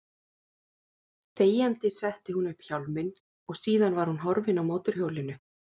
Þegjandi setti hún upp hjálminn og síðan var hún horfin á mótorhjólinu.